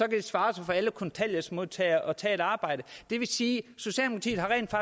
det svare sig for alle kontanthjælpsmodtagere at tage et arbejde det vil sige